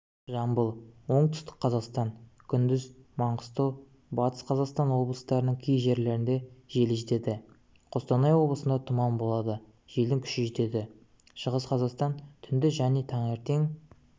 жамбыл оңтүстік-қазақстан күндіз маңғыстау батыс-қазақстан облыстарының кей жерлерінде жел жетеді қостанай облысында тұман болады желдің күші жетеді шығыс-қазақстан түнде және таңертең